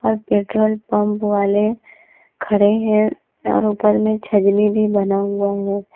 Petrol pump वाले खड़े हैं और ऊपर में छजनी भी बना हुआ है।